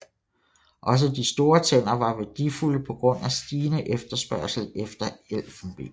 Også de store tænder var værdifulde på grund af stigende efterspørgsel efter elfenben